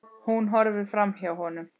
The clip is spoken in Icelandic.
Hún horfir framhjá honum.